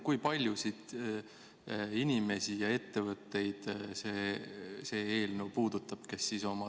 Kui paljusid inimesi ja ettevõtteid see eelnõu puudutab?